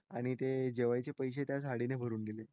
आणि ते जेवायचे पैसे त्या साडीने भरून गेले.